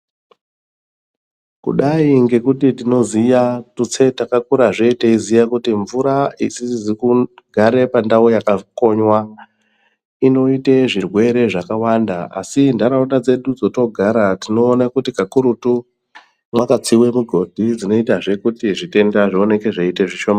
Kudai ngekuti tinoziya tutse takakurazve teiziye kuti mvura isizi kugare pandau yakakonywa inoite zvirwere zvakawanda asi ntaraunda dzedu dzatinogara tinoona kuti kakurutu mwakatsiwe mugodhidzinoitazve kuti zvitenda zvioneke zveiite zvishoma.